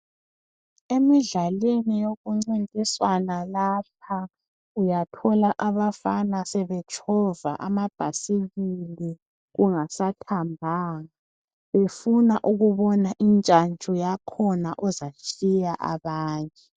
Emidlalweni yokucintiswana lapha uyathola abafana sebetshova amabhayisikili kungasathambanga befuna ukubona intshantshu yakhona ezatshiya abanye.